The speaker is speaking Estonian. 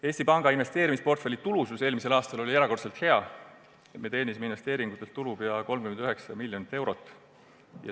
Eesti Panga investeerimisportfelli tulusus oli eelmisel aastal erakordselt hea, me teenisime investeeringute pealt tulu peaaegu 39 miljonit eurot.